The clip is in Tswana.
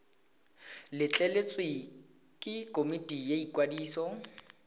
letleletswe ke komiti ya ikwadiso